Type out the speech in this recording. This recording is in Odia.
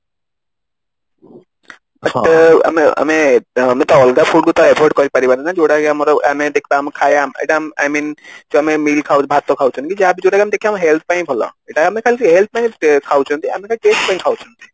ଆମେ ଆମେ ତ ଅଲଗା food କୁ ତ avoid କରି ପାରିବନି ନା ଯୋଉଟାକି ଆମର ଆମେ ଦେଖିବା ଆମ ଖାଇବା I mean ଆମେ meal ଖାଉଛେ କି ଭାତ ଖାଉଛେ କି ଯାହା ବି ଯୋଉ ଟା ଆମେ ଦେଖିବା ଆମ health ପାଇଁ ବି ଭଲ ଏଇଟା ଆମେ ଖାଲି health ପାଇଁ ଖାଉଛନ୍ତି ଆମେ ଟା taste ପାଇଁ ଖାଉଛେ